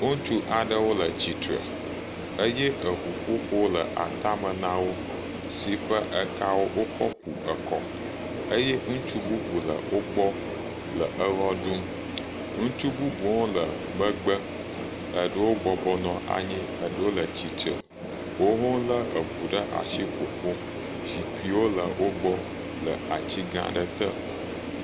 Ŋtsu aɖeweo le tsitre eye eŋuƒoƒo le ata me na wo si ƒe ekawo wokɔ ku ekɔ eye ŋutsu bubu le wogbɔ le ewɔ ɖum. Ŋutsu bubuwo le megbe. Eɖewo bɔbɔnɔ anyi eɖewo le tsitre woho le eŋu ɖe asi ƒoƒom. Zikpuiwo le wogbɔ le atsi gã aɖe te.